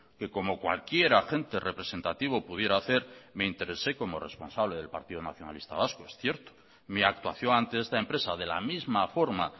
que como cualquier agente representativo pudiera hacer me interesé como responsable del partido nacionalista vasco es cierto mi actuación ante esta empresa de la misma forma